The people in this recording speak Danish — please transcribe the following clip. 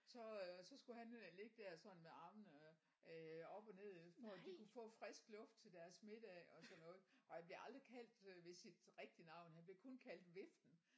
Så øh så skulle han øh ligge der sådan med armene øh op og ned for at de kunne få frisk luft til deres middag og sådan noget og han blev aldrig kaldt ved sit rigtige navn han blev kun kaldt viften